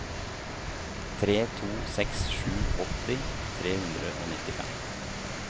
tre to seks sju åtti tre hundre og nittifem